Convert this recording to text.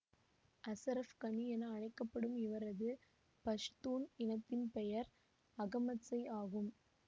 அசரஃப் கனி என அழைக்க படும் இவரது பஷ்தூன் இனத்தின் பெயர் அகமத்சய் ஆகும்